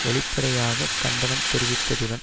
வெளிப்படையாக கண்டனம் தெரிவித்ததுடன்